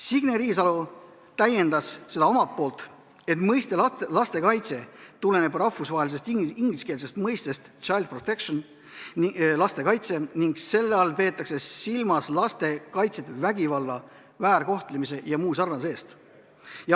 Signe Riisalo täiendas omalt poolt, et mõiste "lastekaitse" tuleneb rahvusvahelisest ingliskeelsest mõistest child protection ehk lastekaitse ning selle all peetakse silmas laste kaitset vägivalla, väärkohtlemise ja muu sarnase eest.